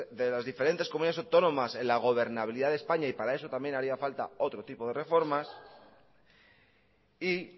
de las diferentes comunidades autónomas en la gobernabilidad de españa y para eso también haría falta otro tipo de reformas y